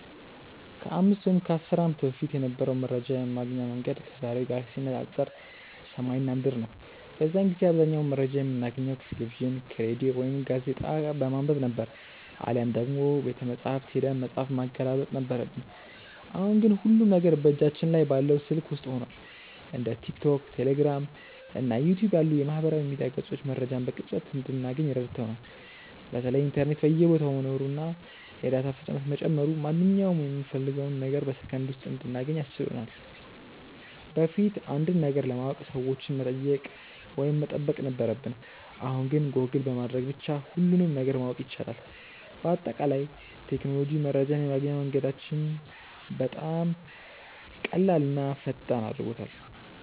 ከ5 ወይም ከ10 ዓመት በፊት የነበረው መረጃ የማግኛ መንገድ ከዛሬው ጋር ሲነፃፀር ሰማይና ምድር ነው። በዚያን ጊዜ አብዛኛውን መረጃ የምናገኘው ከቴሌቪዥን፣ ከሬዲዮ ወይም ጋዜጣ በማንበብ ነበር፤ አሊያም ደግሞ ቤተመጻሕፍት ሄደን መጽሐፍ ማገላበጥ ነበረብን። አሁን ግን ሁሉም ነገር በእጃችን ላይ ባለው ስልክ ውስጥ ሆኗል። እንደ ቲክቶክ፣ ቴሌግራም እና ዩቲዩብ ያሉ የማህበራዊ ሚዲያ ገጾች መረጃን በቅጽበት እንድናገኝ ረድተውናል። በተለይ ኢንተርኔት በየቦታው መኖሩና የዳታ ፍጥነት መጨመሩ ማንኛውንም የምንፈልገውን ነገር በሰከንድ ውስጥ እንድናገኝ አስችሎናል። በፊት አንድን ነገር ለማወቅ ሰዎችን መጠየቅ ወይም መጠበቅ ነበረብን፣ አሁን ግን ጎግል በማድረግ ብቻ ሁሉንም ነገር ማወቅ ይቻላል። በአጠቃላይ ቴክኖሎጂ መረጃን የማግኛ መንገዳችንን በጣም ቀላልና ፈጣን አድርጎታል።